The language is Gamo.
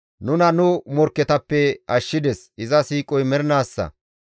Nuna nu morkketappe ashshides; iza siiqoy mernaassa.